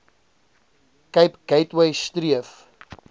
cape gateway streef